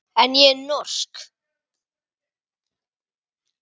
En ég er norsk.